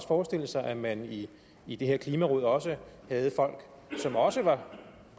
forestille sig at man i i det her klimaråd også havde folk som også var